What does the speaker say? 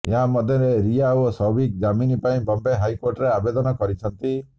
ଏହା ମଧ୍ୟରେ ରିୟା ଓ ସୌଭିକ ଜାମିନ ପାଇଁ ବମ୍ବେ ହାଇକୋର୍ଟରେ ଆବେଦନ କରିଛନ୍ତି